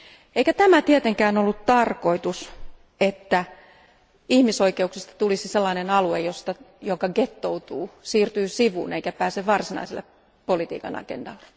Eikä tämä tietenkään ollut tarkoitus, että ihmisoikeuksista tulisi sellainen alue, joka ghettoutuu, siirtyy sivuun, eikä pääse varsinaiselle politiikanagendalle.